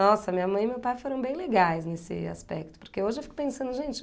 Nossa, minha mãe e meu pai foram bem legais nesse aspecto, porque hoje eu fico pensando, gente...